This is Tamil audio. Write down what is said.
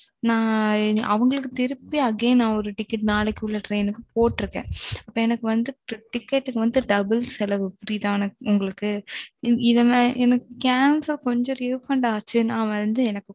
அவங்களுக்கு திருப்பி Again நாளைக்கு உள்ள ற்றின் போட்ருக்கேன் எனக்கு TIcket வந்து double செலவு புரியுதா உங்களுக்கு. Cancel ல எனக்கு கொஞ்சம் Refund ஆச்சுன்னா